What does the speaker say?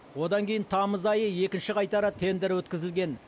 одан кейін тамыз айы екінші қайтара тендер өткізілген